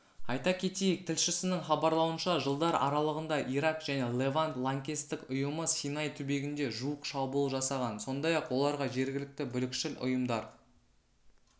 айта кетейік тілшісінің хабарлауынша жылдар аралығында ирак және левант лаңкестік ұйымы синай түбегінде жуық шабуыл жасаған сондай-ақ оларға жергілікті бүлікшіл ұйымдар